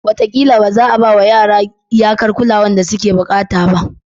Wataƙila ba za a ba wa yara iyakar kulawar da suke buƙata ba.